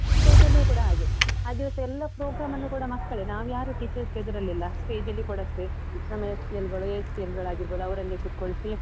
stage ಅಲ್ಲಿಯು ಕೂಡ ಹಾಗೆ, ಆ ದಿವಸ ಎಲ್ಲ programme ಅನ್ನೂ ಕೂಡ ಮಕ್ಕಳೇ, ನಾವ್ಯಾರೂ teachers ಎದ್ರಲಿಲ್ಲ, stage ಅಲ್ಲಿ ಕೂಡ ಅಷ್ಟೆ, ನಮ್ಮ SPL ಗಳು ASPL ಗಳಾಗಿರ್ಬೋದು, ಅವರನ್ನೇ ಕೂತ್ಕೊಳಿಸಿ.